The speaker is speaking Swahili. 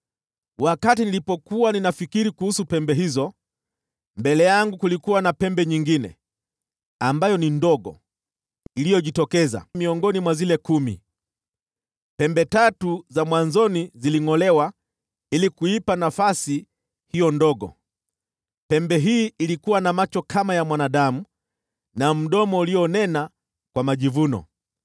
“Wakati nilipokuwa ninafikiri kuhusu pembe hizo, mbele yangu kulikuwa na pembe nyingine, ambayo ni ndogo, iliyojitokeza miongoni mwa zile kumi; pembe tatu za mwanzoni zilingʼolewa ili kuipa nafasi hiyo ndogo. Pembe hii ilikuwa na macho kama ya mwanadamu, na mdomo ulionena kwa majivuno.